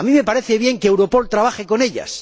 A mí me parece bien que Europol trabaje con ellas.